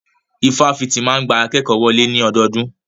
Ifáfitì máa ń gba akékòó wọlé ní ọdọọdún.